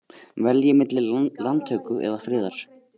Velji milli landtöku eða friðar